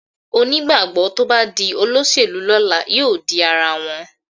Onígbàgbọ́ tó bá di olóṣèlú lọ́la yóò di ara wọn